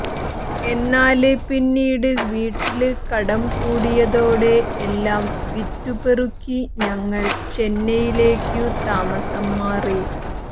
എന്നാല് പിന്നീട് വീട്ടില് കടം കൂടിയതോടെ എല്ലാം വിറ്റുപെറുക്കി ഞങ്ങൾ ചെന്നൈയിലേക്കു താമസം മാറി